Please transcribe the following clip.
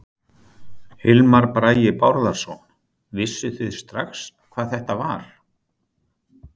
Hilmar Bragi Bárðarson: Vissuð þið strax hvað þetta var?